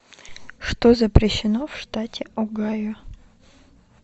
что запрещено в штате огайо